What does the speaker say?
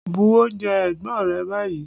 Bu oúnjẹ ẹ̀gbọ́n rẹ báyìí!